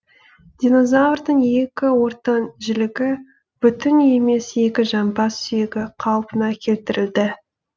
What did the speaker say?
динозврдың екі ортан жілігі бүтін емес екі жамбас сүйегі қалпына келтірілді